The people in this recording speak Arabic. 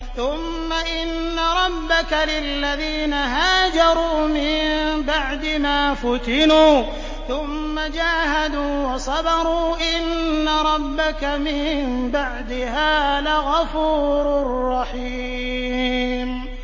ثُمَّ إِنَّ رَبَّكَ لِلَّذِينَ هَاجَرُوا مِن بَعْدِ مَا فُتِنُوا ثُمَّ جَاهَدُوا وَصَبَرُوا إِنَّ رَبَّكَ مِن بَعْدِهَا لَغَفُورٌ رَّحِيمٌ